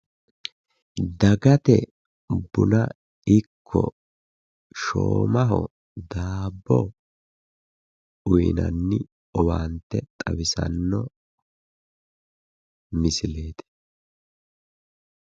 dagate buna ikko shoomaho daabbo uyiinanni owaante xawisanno misileeti.